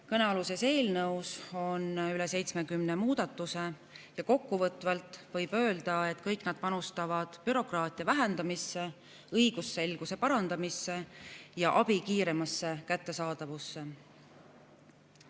Kõnealuses eelnõus on üle 70 muudatuse ja kokkuvõtvalt võib öelda, et kõik nad panustavad bürokraatia vähendamisse, õigusselguse parandamisse ja abi kiiremasse kättesaadavusse.